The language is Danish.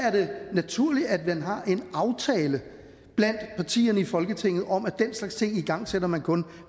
naturligt at man har en aftale blandt partierne i folketinget om at den slags ting igangsætter man kun